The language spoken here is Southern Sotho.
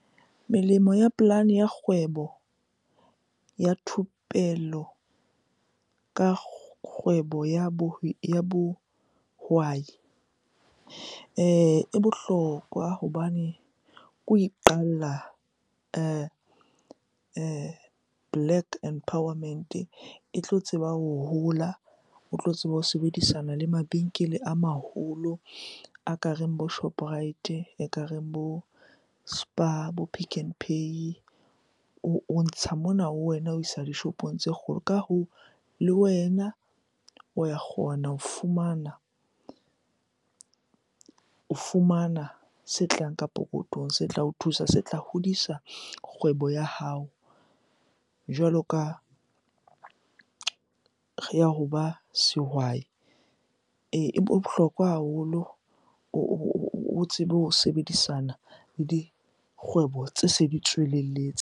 Melemo ya polane ya kgwebo ya thupello ka kgwebo ya bohwai e bohlokwa hobane ke ho iqalla black empowerment-e. E tlo tseba ho hola, o tlo tseba ho sebedisana le mabenkele a maholo a ka reng bo Shoprite, ekareng bo Spar, bo Pick 'n Pay. O ntsha mona ho wena o isa dishopong tse kgolo. Ka hoo, le wena o ya kgona ho fumana, o fumana se tlang ka pokothong, se tla o thusa, se tla hodisa kgwebo ya hao jwalo ka ya hoba sehwai. Ee, e bohlokwa haholo o tsebe ho sebedisana le dikgwebo tse se di tswelelletse.